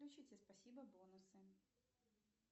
включите спасибо бонусы